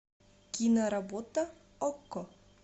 киноработа окко